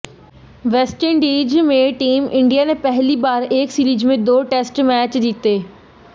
West Indies में team India ने पहली बार एक सीरीज में दो टेस्ट मैच जीते